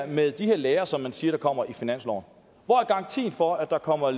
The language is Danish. det med de her lærere som man siger kommer finansloven hvor er garantien for at der kommer